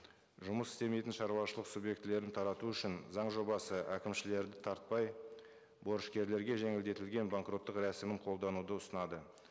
жұмыс істемейтін шаруашылық субъектілерін тарату үшін заң жобасы әкімшілерді тартпай борышкерлерге жеңілдетілген банкроттық рәсімін қолдануды ұсынады